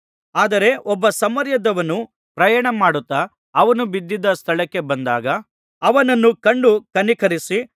ಆದರೆ ಒಬ್ಬ ಸಮಾರ್ಯದವನು ಪ್ರಯಾಣಮಾಡುತ್ತಾ ಅವನು ಬಿದಿದ್ದ ಸ್ಥಳಕ್ಕೆ ಬಂದಾಗ ಅವನನ್ನು ಕಂಡು ಕನಿಕರಿಸಿ